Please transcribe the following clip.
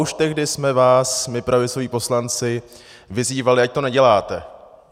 Už tehdy jsme vás my pravicoví poslanci vyzývali, ať to neděláte.